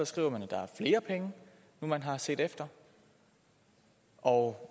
skriver man at der er flere penge nu man har set efter og